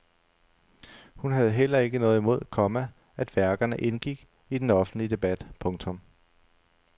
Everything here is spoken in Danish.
Hun havde heller ikke noget imod, komma at værkerne indgik i den offentlige debat. punktum